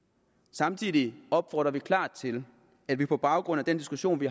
samtidig opfordrer vi klart til at man på baggrund af diskussionen i